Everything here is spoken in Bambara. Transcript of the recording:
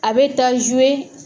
A bɛ taa